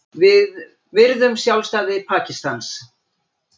Við virðum sjálfstæði Pakistans